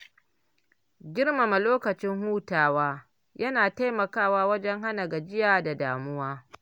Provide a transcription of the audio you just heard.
Girmama lokacin hutawa yana taimakawa wajen hana gajiya da damuwa.